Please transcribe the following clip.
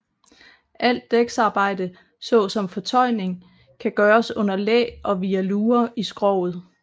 Alt dæksarbejde så som fortøjning kan gøres under læ og via luger i skroget